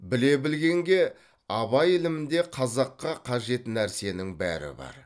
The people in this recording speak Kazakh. біле білгенге абай ілімінде қазаққа қажет нәрсенің бәрі бар